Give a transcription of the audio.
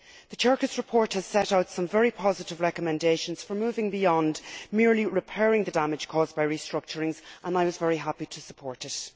The Cercas report has set out some very positive recommendations for moving beyond merely repairing the damage caused by restructurings, and I was very happy to support it.